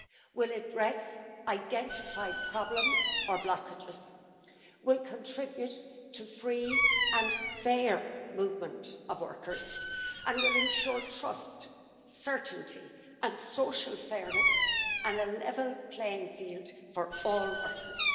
will address identified problems or blockages, will contribute to free and fair movement of workers, and will ensure trust, certainty and social fairness and a level playing field for all workers.